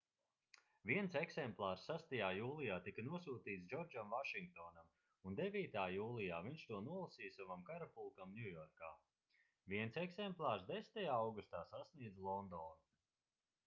viens eksemplārs 6. jūlijā tika nosūtīts džordžam vašingtonam un 9. jūlijā viņš to nolasīja savam karapulkam ņujorkā viens eksemplārs 10. augustā sasniedza londonu